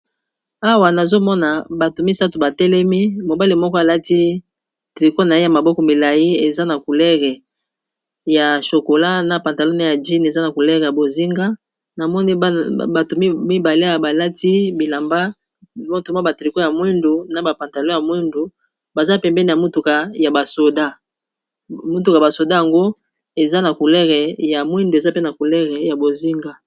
Awa nazomona bato misato ba telemi, mobale moko alati tricot na ye ya maboko milayi eza na couleur ya chokola na pantalon ya jin eza na couleur ya bozinga, namoni bato mibale balati bilamba na ba tricot ya mwindu na ba pantalon ya mwindu baza pembeni ya motuka ya ba soda yango eza na couleur ya mwindu eza pe na couleur ya bozinga.